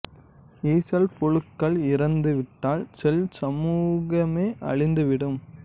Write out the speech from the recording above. ஈசல் புழுக்கள் இறந்து விட்டால் செல் சமூகமே அழிந்து விடும்